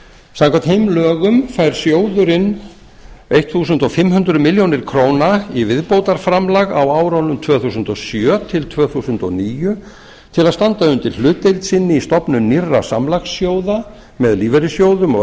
samkvæmt þeim lögum fær sjóðurinn fimmtán hundruð milljóna króna viðbótarframlag á árunum tvö þúsund og sjö til tvö þúsund og níu til að standa undir hlutdeild sinni í stofnun nýrra samlagssjóða með lífeyrissjóðum og